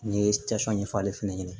N ye ɲɛfɔ ale fɛnɛ ɲɛna